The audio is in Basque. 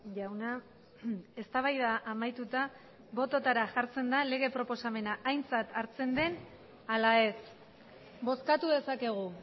jauna eztabaida amaituta bototara jartzen da lege proposamena aintzat hartzen den ala ez bozkatu dezakegu